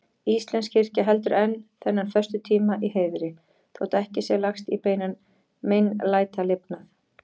Íslensk kirkja heldur enn þennan föstutíma í heiðri, þótt ekki sé lagst í beinan meinlætalifnað.